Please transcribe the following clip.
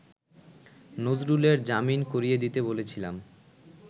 নজরুলের জামিন করিয়ে দিতে বলেছিলাম